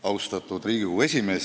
Austatud Riigikogu esimees!